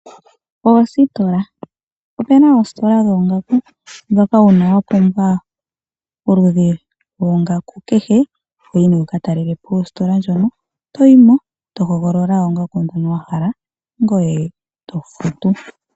Oositola, opu na oositola dhoongaku, ndhoka uuna wa pumbwa oludhi lwoongaku kehe toyi nee wuka talele po ositola ndjono, toyi mo to hogolola oongaku ndhono wa hala eto futu.